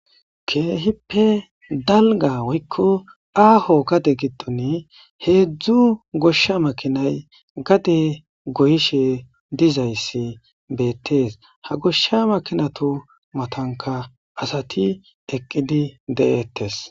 Keehippe dalga woyko aaho gade gidon 3 gosha makinay gade goyshe dizays betes, ha gosha makinatu matanka asat eqid de'etes.